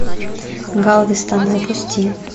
галвестон запусти